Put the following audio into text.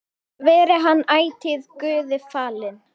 Veri hann ætíð Guði falinn.